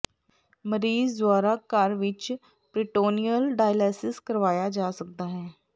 ਮਰੀਜ਼ ਦੁਆਰਾ ਘਰ ਵਿਚ ਪਰੀਟੋਨਿਅਲ ਡਾਈਲਾਇਸਸ ਕਰਵਾਇਆ ਜਾ ਸਕਦਾ ਹੈ